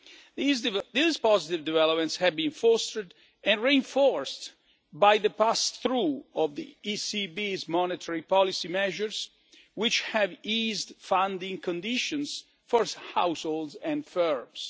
These positive developments have been fostered and reinforced by the pass through of the ECB's monetary policy measures, which have eased funding conditions for households and firms.